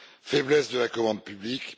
faiblesse de la commande publique